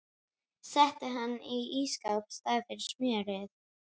Setti hann inn í ísskáp í staðinn fyrir smjörið.